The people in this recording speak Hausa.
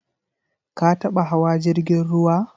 Ka taba hawa jirgin ruwa?